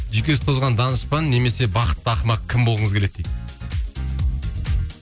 жүйкесі тозған данышпан немесе бақытты ақымақ кім болғыңыз келеді дейді